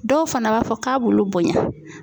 Dɔw fana b'a fɔ k'a b'ulu bonɲa.